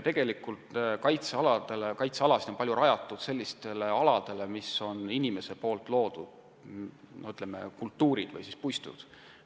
Tegelikult on kaitsealad rajatud paljuski sellistele aladele, kus on inimese loodud kultuurpuistuid.